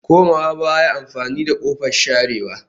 Komawa baya amfani da kofar sharewa